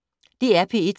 DR P1